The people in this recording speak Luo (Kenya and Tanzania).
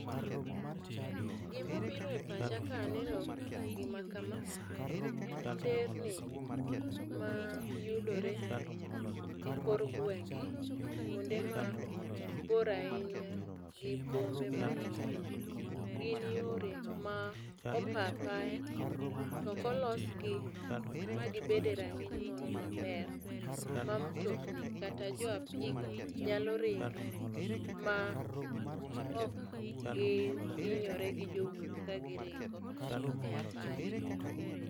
gima bire pacha kang'iyo gima kama en nderni ma yudore e kor gwenge kuonde mabor ahinya gi bombe madongo. Gin yore mopa apaya to ok olosgi e rang'iny moro maber ma mtokni kata jo apiko nyalo ringe ma ok gihinyore gi jowuoth ka giringo e apaya.